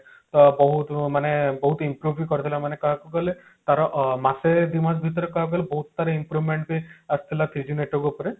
ତ ବହୁତ ମାନେ ବହୁତ improve ବି କରିଥିଲା ମାନେ କହିବାକୁ ଗଲେ ତାର ଅ ମାସେ ଦି ମାସ ଭିତରେ କହିବାକୁ ଗଲେ ବହୁତ ତାର improvement ବି ଆସିଥିଲା three G network ଉପରେ